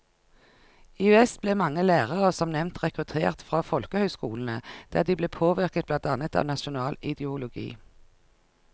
I vest ble mange lærere som nevnt rekruttert fra folkehøyskolene, der de ble påvirket blant annet av nasjonal ideologi.